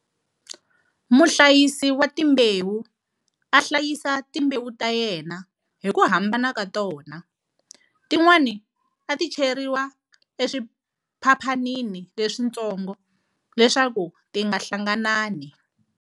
Muhlayisi wa timbewu a hlayisa timbewu ta yena hi ku hambana ka tona, tin'wana a ti cheriwa eswiphaphanini leswintsongo leswaku ti nga hlanganani.